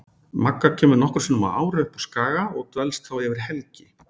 Magga kemur nokkrum sinnum á ári upp á Skaga og dvelst þá yfir helgi.